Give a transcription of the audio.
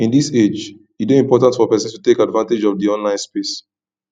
in this age e de important for persin to take advantage of di online space